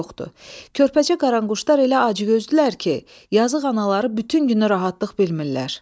Körpəcə qaranquşlar elə acgözdülər ki, yazıq anaları bütün günü rahatlıq bilmirlər.